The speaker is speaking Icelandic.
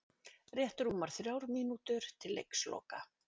Rétt rúmar þrjár mínútur til leiksloka